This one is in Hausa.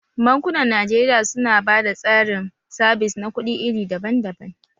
Bankunan Najeriya su na ba da tsarin sabis na kuɗi iri daban daban.